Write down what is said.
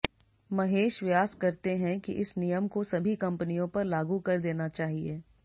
महेश व्यास करते हैं कि इस नियम को सभी कंपनियों पर लागू कर देना चाहिए